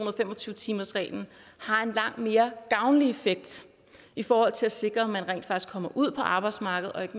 og fem og tyve timersreglen har en langt mere gavnlig effekt i forhold til at sikre at man rent faktisk kommer ud på arbejdsmarkedet og ikke